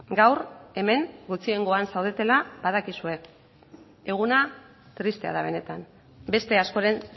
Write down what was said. gaur hemen gutxiengoan zaudetela badakizue eguna tristea da benetan beste askoren